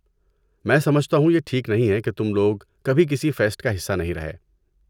میں سمجھتا ہوں یہ ٹھیک نہیں ہے کہ تم لوگ کبھی کسی فیسٹ کا حصہ نہیں رہے۔